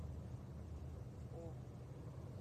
о